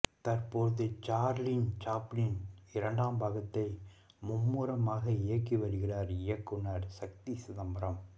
தற்போது Charlie Chaplin இரண்டாம் பாகத்தை மும்புரமாக இயக்கி வருகிறார் இயக்குனர் சக்தி சிதம்பரம்